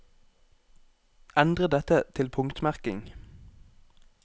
Endre dette til punktmerking